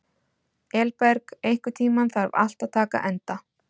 Elberg, einhvern tímann þarf allt að taka enda.